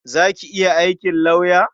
Za ki iya aikin lauya?